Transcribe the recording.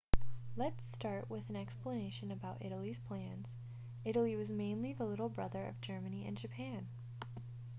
let's start with an explanation about italy's plans italy was mainly the little brother of germany and japan